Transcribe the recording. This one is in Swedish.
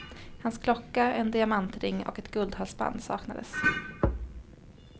Hans klocka, en diamantring och ett guldhalsband saknades.